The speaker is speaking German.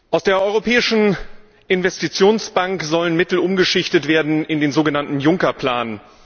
Aus der Europäischen Investitionsbank sollen Mittel umgeschichtet werden in den sogenannten Juncker Plan.